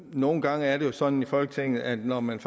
nogle gange er det jo sådan i folketinget at når man